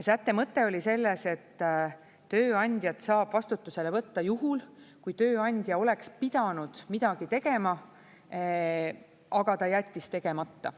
Sätte mõte oli selles, et tööandjat saab vastutusele võtta juhul, kui tööandja oleks pidanud midagi tegema, aga ta jättis tegemata.